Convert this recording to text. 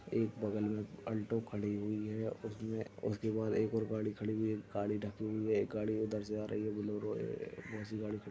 एक बगल में आल्टो खड़ी हुई है उसमे उसके बाद एक और गाड़ी खड़ी हुई है गाड़ी ढकी हुई है एक गाड़ी उधर से आ रही है बोलेरो है बहोत सी गाड़ी खड़ी हुई --